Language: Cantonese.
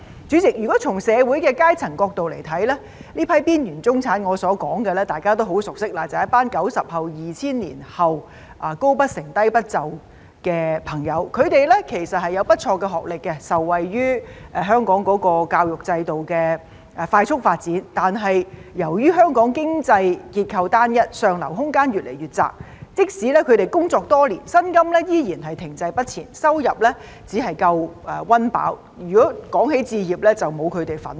主席，如果從社會階層的角度來看，我所說的這批邊緣中產，大家都很熟悉，便是一群 "90 後"、"2000 年後"，"高不成，低不就"的朋友，他們其實有不錯的學歷，受惠於香港的教育制度的快速發展，但由於香港經濟結構單一，上流空間越來越窄，即使他們工作多年，薪金仍然停滯不前，收入只足夠溫飽，如果要說置業，則沒有他們的份兒。